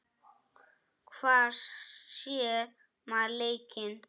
Hvar sér maður leikinn?